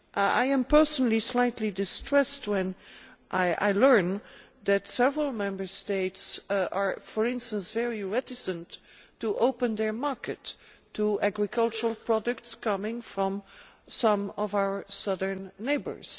I am personally slightly distressed when I learn that several Member States are, for instance, very reluctant to open their market to agricultural products coming from some of our southern neighbours.